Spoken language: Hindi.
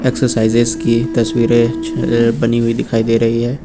एक्सरसाइजेज की तस्वीरें बनी हुई दिखाई दे रही हैं।